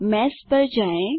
mesh पर जाएँ